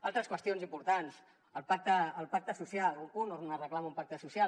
altres qüestions importants el pacte social un punt on es reclama un pacte social